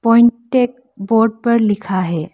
Point टेक board पर लिखा है।